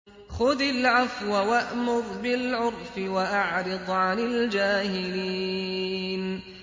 خُذِ الْعَفْوَ وَأْمُرْ بِالْعُرْفِ وَأَعْرِضْ عَنِ الْجَاهِلِينَ